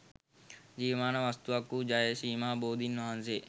ජීවමාන වස්තුවක් වූ ජය ශ්‍රී මහා බෝධීන් වහන්සේ